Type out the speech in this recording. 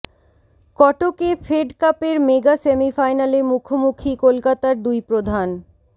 কটকে Fed কাপের mega সেমিফাইনালে মুখোমুখি কলকাতার দুই প্রধান